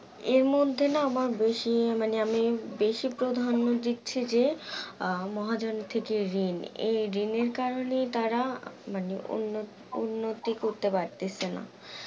এর মধ্যে না আমার বেশি মানে আমি বেশি প্রাধান্য দিচ্ছি যে আহ মহাজন থেক ঋণ, এই ঋণের কারণেই তারা মানে উন্ন উন্নতি করতে পারতেছে না